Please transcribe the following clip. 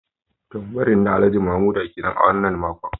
Turbaring na Alhaji Mamuda kenan a wannan makon